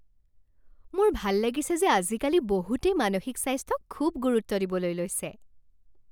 মোৰ ভাল লাগিছে যে আজিকালি বহুতেই মানসিক স্বাস্থ্যক খুব গুৰুত্ব দিবলৈ লৈছে।